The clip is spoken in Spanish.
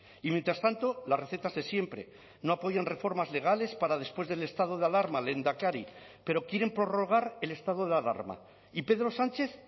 y mientras tanto las recetas de siempre no apoyan reformas legales para después del estado de alarma lehendakari pero quieren prorrogar el estado de alarma y pedro sánchez